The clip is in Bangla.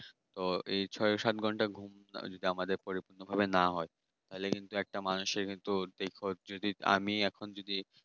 আমি এখন যদি এই ছয় সাত ঘন্টা ঘুম যদি আমাদের পরিমাণ ভাবে না হয় তাহলে কিন্তু একটা মানুষের দুদিন পর যদি